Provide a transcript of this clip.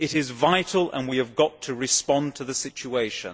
It is vital and we have to respond to the situation.